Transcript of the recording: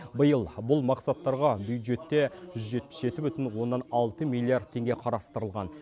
биыл бұл мақсаттарға бюджетте жүз жетпіс жеті бүтін оннан алты миллиард теңге қарастырылған